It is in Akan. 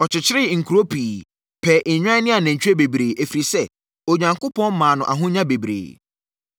Ɔkyekyeree nkuro pii, pɛɛ nnwan ne anantwie bebree, ɛfiri sɛ, Onyankopɔn maa no ahonya bebree.